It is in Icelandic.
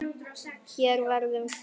Hér verður kveikt.